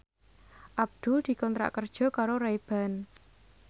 Abdul dikontrak kerja karo Ray Ban